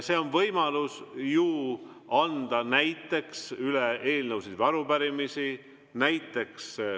On ju võimalus anda näiteks üle eelnõusid või arupärimisi.